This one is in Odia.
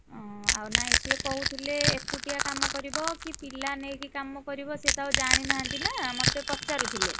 ଉଁ ଆଉ ନାଇଁ ସେ କହୁଥିଲେ ଏକୁଟିଆ କାମ କରିବ କି ପିଲା ନେଇକି କାମ କରିବ ସିଏ ତ ଆଉ ଜାଣିନାହାନ୍ତି ନା ମତେ ପଚାରୁଥିଲେ।